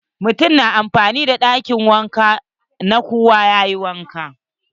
Mutumin yana amfani da ɗakin wanka na kowa yayi wanka.